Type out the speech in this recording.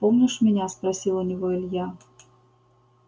помнишь меня спросил у него илья